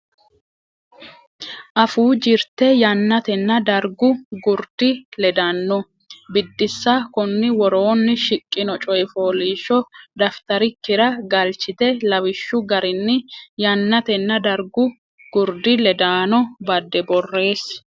Afuu Jirte Yannatenna Dargu Gurdi ledaano Biddissa Konni woroonni shiqqino coy fooliishsho dafitarikkira galchite lawishshu garinni yannatenna dargu gurdi ledaano badde borreessi.